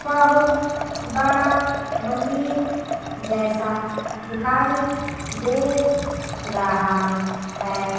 बहुत बड़ा मंदिर जैसा दिखाई दे रहा है।